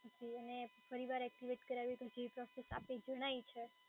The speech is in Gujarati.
જી અને ફરી વાર એક્ટિવેટ કરાવી હોય તો જે પ્રોસેસ આપે જણાઈ છે